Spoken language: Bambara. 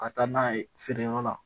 Ka taa n'a ye feereyɔrɔ la